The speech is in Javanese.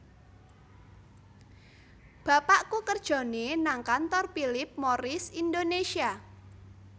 Bapakku kerjone nang kantor Philip Morris Indonesia